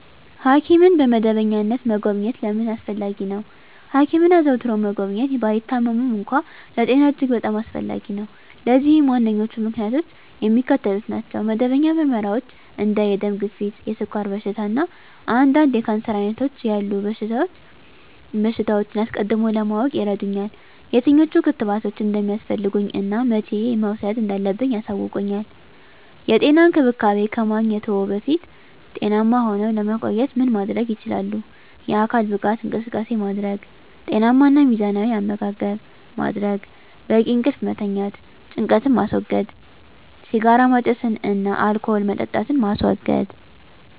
ሐኪምን በመደበኛነት መጎብኘት ለምን አስፈለጊ ነው? ሐኪምን አዘውትሮ መጎብኘት፣ ባይታመሙም እንኳ፣ ለጤና እጅግ በጣም አስፈላጊ ነው። ለዚህም ዋነኞቹ ምክንያቶች የሚከተሉት ናቸው። መደበኛ ምርመራዎች እንደ የደም ግፊት፣ የስኳር በሽታ፣ እና አንዳንድ የካንሰር ዓይነቶች ያሉ በሽታዎችን አስቀድሞ ለማወቅ ይረዱኛል። የትኞቹ ክትባቶች እንደሚያስፈልጉኝ እና መቼ መውሰድ እንዳለብኝ ያሳውቁኛል። *የጤና እንክብካቤ ከማግኘትዎ በፊት ጤናማ ሁነው ለመቆየት ምን ማድረግ ይችላሉ?*የአካል ብቃት እንቅስቃሴ ማድረግ * ጤናማ እና ሚዛናዊ አመጋገብ ማድረግ: * በቂ እንቅልፍ መተኛት * ጭንቀትን ማስወገድ * ሲጋራ ማጨስን እና አልኮል መጠጣትን ማስወገድ: